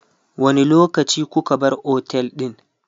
wani lokaci kuka bar otel ɗin?